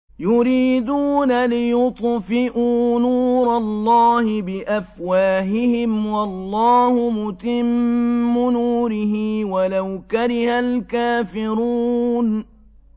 يُرِيدُونَ لِيُطْفِئُوا نُورَ اللَّهِ بِأَفْوَاهِهِمْ وَاللَّهُ مُتِمُّ نُورِهِ وَلَوْ كَرِهَ الْكَافِرُونَ